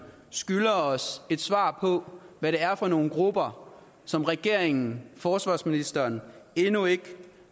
skylder os et svar på hvad det er for nogle grupper som regeringen forsvarsministeren endnu ikke